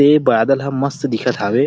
ए बादल ह मस्त दिखत हावे।